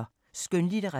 Skønlitteratur